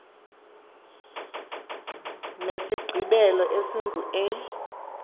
nesigqibelo esingu e